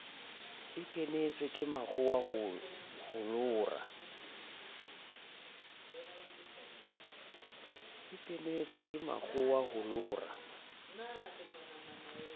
a kenetswe ke mokgwawa holora